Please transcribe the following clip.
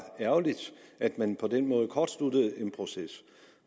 ærgerligt at man på den måde kortsluttede en proces